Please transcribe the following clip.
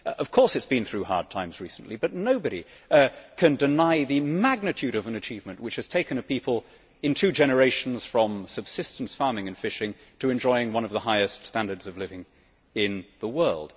Of course, it has been through hard times recently, but nobody can deny the magnitude of an achievement which has taken a people, in two generations, from subsistence farming and fishing to enjoying one of the highest standards of living in the world.